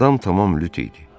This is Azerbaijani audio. Adam tamam lüt idi.